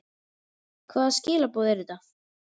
Hvaða skilaboð eru þetta?